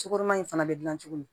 Cokoma in fana bɛ dilan cogo min